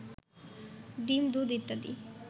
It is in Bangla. ডিম, দুধ ইত্যাদি